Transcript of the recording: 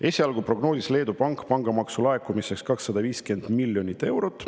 Esialgu prognoosis Leedu Pank pangamaksu laekumiseks 250 miljonit eurot.